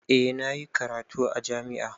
Eh na yi karatu a jami'a.